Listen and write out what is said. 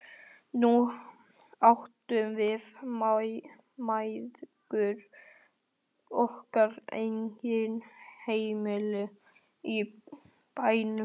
Nú áttum við mæðgur okkar eigið heimili í bænum.